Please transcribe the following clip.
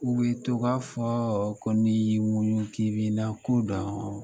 U bɛ to k'a fɔ ko n'i y'i muɲu k'i bɛna ko dɔn